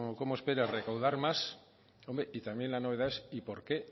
cómo espera recaudar más hombre y también la novedad es y por qué